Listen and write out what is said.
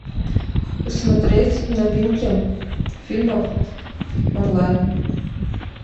смотреть новинки фильмов онлайн